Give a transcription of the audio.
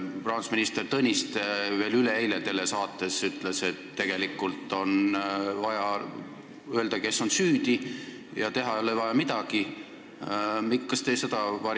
Rahandusminister Tõniste ütles veel üleeile telesaates, et tegelikult on vaja öelda, kes on süüdi, ja midagi teha ei ole vaja.